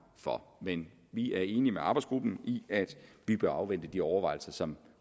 for i men vi er enige med arbejdsgruppen i at vi bør afvente de overvejelser som